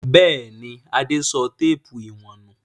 Bẹ́ẹ̀ ni, Adé sọ téépù ìwọ̀n nù.